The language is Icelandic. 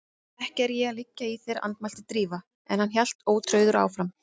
Ekki er ég að liggja í þér- andmælti Drífa en hann hélt ótrauður áfram